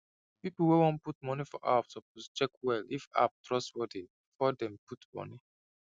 people wey wan put money for app suppose check well if app trustworthy before dem put money